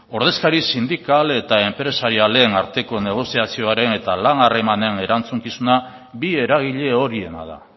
ordezkari sindikal eta enpresarien aldeen arteko negoziazioaren eta lan harremanen erantzukizuna bi eragile horiena da